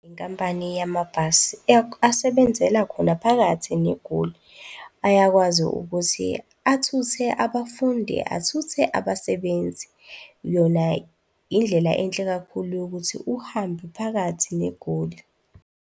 Inkampani yamabhasi asebenzela khona phakathi neGoli, ayakwazi ukuthi athuthe abafundi, athuthe abasebenzi. Yona indlela enhle kakhulu yokuthi uhambe phakathi neGoli.